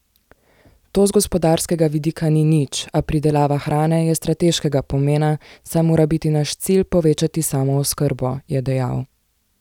To z gospodarskega vidika ni nič, a pridelava hrane je strateškega pomena, saj mora biti naš cilj povečati samooskrbo, je dejal.